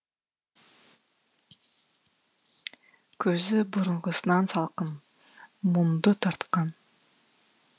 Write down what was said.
көзі бұрыңғысынан салқын мұңды тартқан